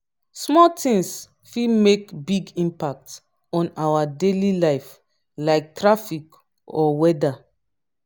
small tings fit make big impact on our daily life like traffic or weather.